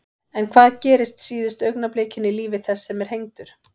En hvað gerist síðustu augnablikin í lífi þess sem er hengdur?